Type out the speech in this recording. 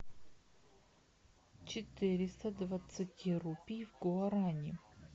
четыреста двадцати рупий в гуарани